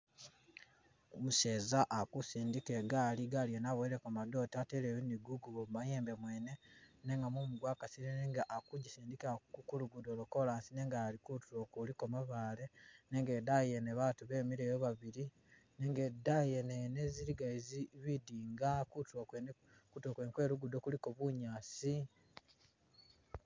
Umuseza akusindika igaali, igali yene aboyeleko madote ateleyo ni gukubo mu mayembe mwene nenga mumu gwakasile nenga akujisindikila kulugudo lwa coras nenga kutulo kuliko mabaale nenga idaayi yene batu bemileyo babili nenga idaayi yene yene ziligayo zi- bidinga kutulo kwene- kutulo kwene kwe lugudo kuliko bunyaasi.